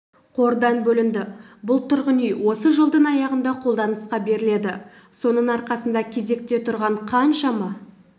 қордан бөлінді бұл тұрғын үй осы жылдың аяғында қолданысқа беріледі соның арқасында кезекте тұрған қаншама